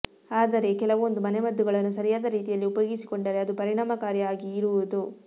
ಆದರೆ ಕೆಲವೊಂದು ಮನೆಮದ್ದುಗಳನ್ನು ಸರಿಯಾದ ರೀತಿಯಲ್ಲಿ ಉಪಯೋಗಿಸಿಕೊಂಡರೆ ಅದು ಪರಿಣಾಮಕಾರಿ ಆಗಿ ಇರುವುದು